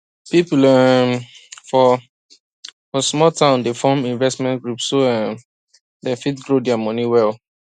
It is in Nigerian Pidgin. people um for for small town dey form investment group so um dem fit grow dia money well